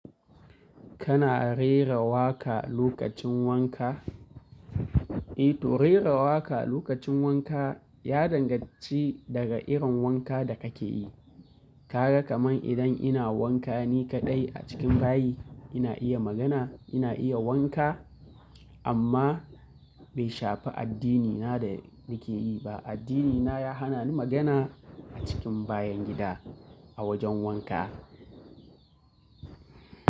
Kana rera waƙa lokacin wanka? Eh to rera waƙa lokacin wanka ya danganci daga irin wanka da kake yi. Kaga kamar idan ina wanka ni kaɗai a cikin bayi, ina iya magana, ina iya wanka amma bai shafi addinina da nake yi ba. Addinina ya hana ni magana a cikin bayan gida a wajen wanka.